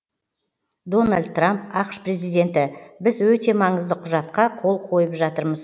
дональд трамп ақш президенті біз өте маңызды құжатқа қол қойып жатырмыз